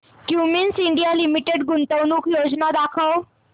Cummins India limited गुंतवणूक योजना दाखव